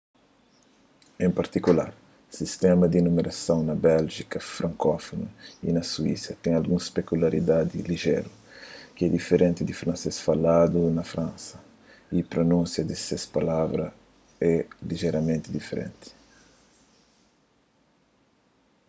en partikular sistéma di numerason na béljika frankófunu y na suísa ten alguns pekuliaridadi lijéru ki é diferenti di fransês faladu na fransa y prunúnsia di alguns palavras é lijeramenti diferenti